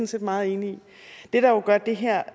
set meget enig i det der jo gør det her